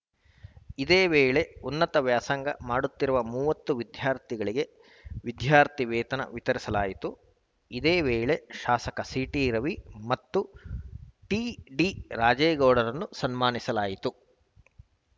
ಇದೇ ವೇಳೆ ಉನ್ನತ ವ್ಯಾಸಂಗ ಮಾಡುತ್ತಿರುವ ಮೂವತ್ತು ವಿದ್ಯಾರ್ಥಿಗಳಿಗೆ ವಿದ್ಯಾರ್ಥಿ ವೇತನ ವಿತರಿಸಲಾಯಿತು ಇದೇ ವೇಳೆ ಶಾಸಕ ಸಿಟಿ ರವಿ ಮತ್ತು ಟಿಡಿ ರಾಜೇಗೌಡರನ್ನು ಸನ್ಮಾನಿಸಲಾಯಿತು